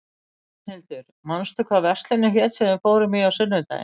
Rafnhildur, manstu hvað verslunin hét sem við fórum í á sunnudaginn?